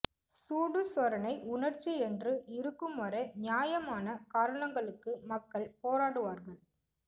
சூடு சொரணை உன்னர்ச்சி என்று இருக்கு ம் வரை நியாயமான காரணங்களுக்கு மக்கள் போராடுவார்கள